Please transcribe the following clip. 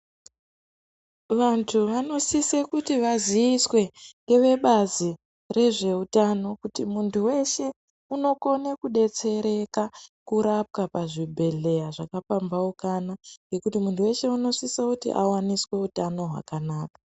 Vantu vanosise kuti vaziiswe ngevebazi rezveutano kuti muntu weshe unokone kudetsereka kurapwa pazvibhedhleya zvakapamphaukana ngekuti muntu weshe unosise kuti awaniswe utano hwakanaka.